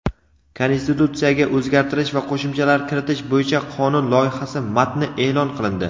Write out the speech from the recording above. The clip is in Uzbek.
Konstitutsiyaga o‘zgartish va qo‘shimchalar kiritish bo‘yicha qonun loyihasi matni eʼlon qilindi.